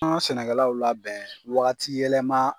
An ka sɛnɛkɛlaw labɛn wagati yɛlɛma